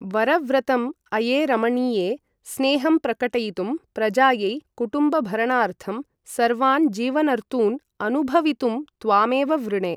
वरव्रतम् अये रमणीये, स्नेहं प्रकटयितुं, प्रजायै, कुटुम्बभरणार्थं, सर्वान् जीवनर्तून् अनुभवितुं त्वामेव वृणे।